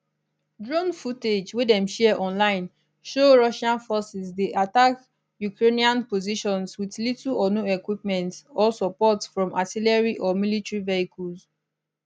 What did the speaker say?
drone footage wey dem share online show russian forces dey attack ukrainian positions with little or no equipment or support from artillery or military vehicles